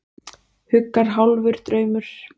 Huggar hálfur draumur.